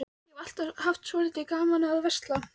Ég hef alltaf haft svolítið gaman af að versla.